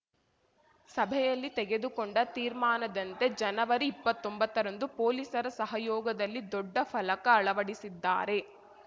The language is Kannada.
ಸಭೆಯಲ್ಲಿ ತೆಗೆದುಕೊಂಡ ತೀರ್ಮಾನದಂತೆ ಜನವರಿಇಪ್ಪತ್ತೊಂಬತ್ತರಂದು ಪೊಲೀಸರ ಸಹಯೋಗದಲ್ಲಿ ದೊಡ್ಡ ಫಲಕ ಅಳವಡಿಸಿದ್ದಾರೆ